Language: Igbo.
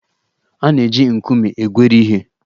A na-eji nkume egweri ihe.